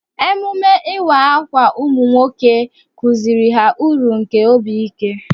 Emume ịwa ákwà ụmụ nwoke kụziiri ha uru nke obi ike.